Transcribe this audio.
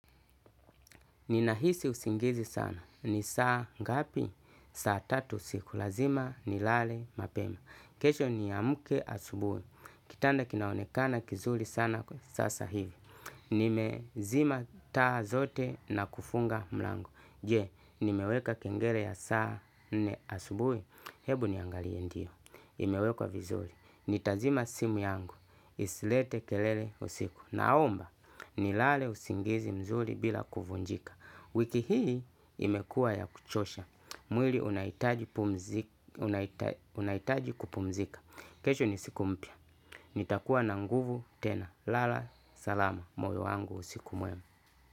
Ninahisi usingizi sana. Ni saa ngapi? Saa tatu usiku. Lazima nilale mapema. Kesho niamke asubuhi. Kitanda kinaonekana kizuri sana sasa hivi. Nimezima taa zote na kufunga mlango. Je, nimeweka kengele ya saa nne asubuhi. Ebu niangalie ndiyo. Imewekwa vizuri nitazima simu yangu isilete kelele usiku naomba nilale usingizi mzuri bila kuvunjika wiki hii imekuwa ya kuchosha mwili unahitaji kupumzika kesho ni siku mpya. Nitakuwa na nguvu tena lala salama moyo wangu usiku mwema.